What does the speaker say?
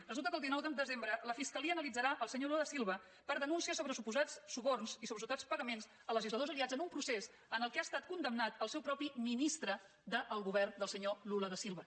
resulta que el dinou de desembre la fiscalia analitzarà el senyor lula da silva per denúncies sobre suposats suborns i suposats pagaments a legisladors aliats en un procés en què ha estat condemnat el seu mateix ministre del govern del senyor lula da silva